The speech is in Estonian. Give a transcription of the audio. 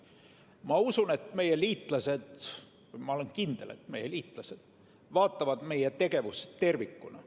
Ma usun, ma olen kindel, et meie liitlased vaatavad meie tegevust tervikuna.